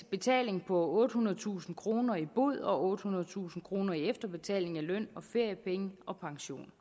betaling på ottehundredetusind kroner i bod og ottehundredetusind kroner i efterbetaling af løn feriepenge og pension